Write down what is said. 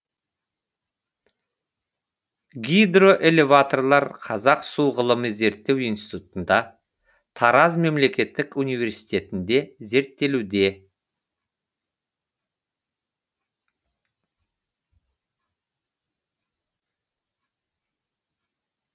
гидроэлеваторлар қазақ су ғылыми зерттеу институтында тараз мемлекеттік университетінде зерттелуде